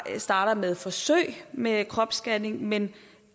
startes med forsøg med kropsscanning men